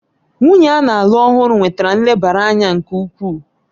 Nwunye a na-alụ ọhụrụ nwetara nlebara anya nke ukwuu